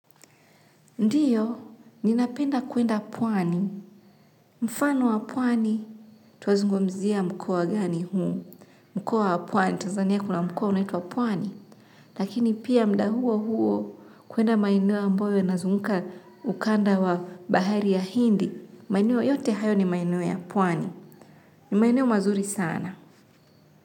Ndiyo, ninapenda kuenda pwani. Mfano wa pwani, twazungumzia mkoa gani huu. Mkoa wa pwani, Tazania kuna mkoa unaitwa pwani. Lakini pia muda huo huo, kwenda maeneo ambayo nazunguka ukanda wa bahari ya hindi, maeneo yote hayo ni maeneo ya pwani. Ni maeneo mazuri sana.